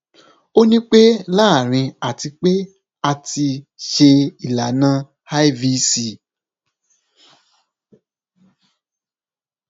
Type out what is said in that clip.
o ni pe laarin ati pe a ti ṣe ilana ivc